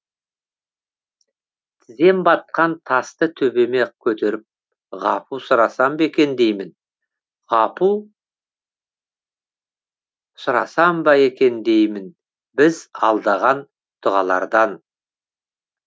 тізем батқан тасты төбеме көтеріп ғапу сұрасам ба екен деймін ғапу сұрасам ба екен деймін біз алдаған дұғалардан